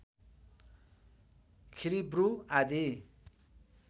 खिरिब्रु आदि